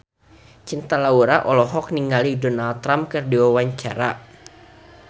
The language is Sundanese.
Cinta Laura olohok ningali Donald Trump keur diwawancara